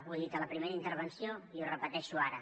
ho he dit a la primera intervenció i ho repeteixo ara